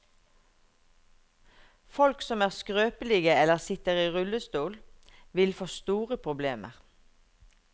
Folk som er skrøpelige eller sitter i rullestol, vil få store problemer.